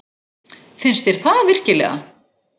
Finnst þér það virkilega?